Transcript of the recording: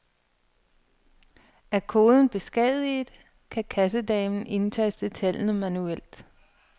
Er koden beskadiget, kan kassedamen indtaste tallene manuelt.